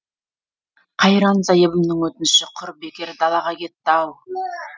қайран зайыбымның өтініші құр бекер далаға кетті ау